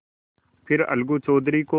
फिर अलगू चौधरी को